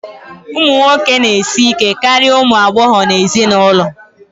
ụmụ nwoke na-esi ike karịa ụmụ agbọghọ nọ n'ezinụlọ